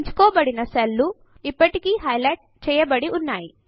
ఎంచుకోబడిన cell లు ఇప్పటికీ highlight చేయబడి ఉన్నాయి